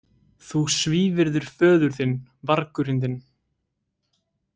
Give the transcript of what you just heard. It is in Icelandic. Þú svívirðir föður þinn, vargurinn þinn.